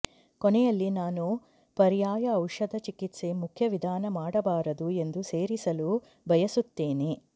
ಕೊನೆಯಲ್ಲಿ ನಾನು ಪರ್ಯಾಯ ಔಷಧ ಚಿಕಿತ್ಸೆ ಮುಖ್ಯ ವಿಧಾನ ಮಾಡಬಾರದು ಎಂದು ಸೇರಿಸಲು ಬಯಸುತ್ತೇನೆ